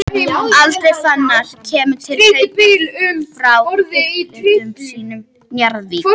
Andri Fannar kemur til Hauka frá uppeldisfélagi sínu Njarðvík.